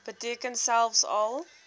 beteken selfs al